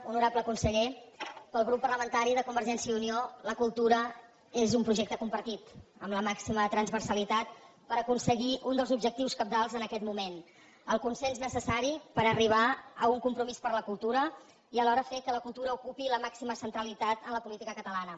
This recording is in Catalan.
honorable conseller pel grup parlamentari de convergència i unió la cultura és un projecte compartit amb la màxima transversalitat per aconseguir uns dels objectius cabdals en aquest moment el consens necessari per arribar a un compromís per la cultura i alhora fer que la cultura ocupi la màxima centralitat en la política catalana